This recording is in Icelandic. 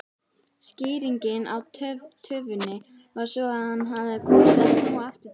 Skýringin á töfinni var sú að hann hafði kosið að snúa aftur til